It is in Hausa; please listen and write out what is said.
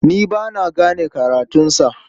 Ni ba na gane karatunsa.